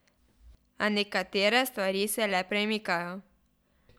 A nekatere stvari se le premikajo.